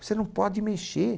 Você não pode mexer.